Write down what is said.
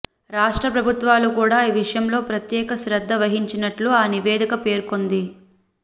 రాష్ట్ర ప్రభుత్వాలు కూడా ఈ విషయంలో ప్రత్యేక శ్రద్ద వహించినట్లు ఆ నివేదిక పేర్కొంది